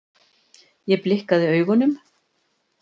Ég blikkaði augunum.